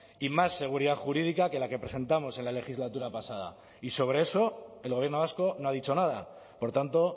y más seguridad jurídica que la que presentamos en la legislatura pasada y sobre eso el gobierno vasco no ha dicho nada por tanto